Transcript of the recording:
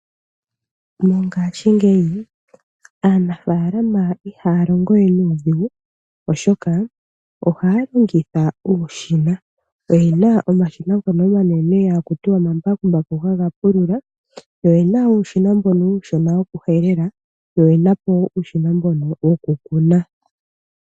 Mongashingeyi aanafaalama ihaya longo we nuudhigu, oshoka ohaya longitha uushina. Oyena omashina ngono omanene hakutiwa omambakumbaku haga pulula, yo oyena wo uushina mboka uushona woku helela, yo oyena po uushina woku kuna.